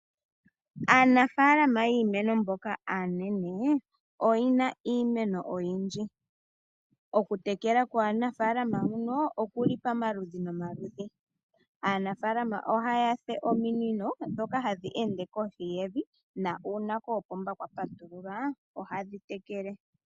Aanafaalama yiimeno mboka aanene oye na iimeno oyindji. Oku tekela kwaanafalama mbano oku li pamaludhi nomaludhi. Aanafalama ohaya fulile ominino ndhoka hadhi ende kohi yevi nuuna koopomba kwa patululwa ohadhi tekele.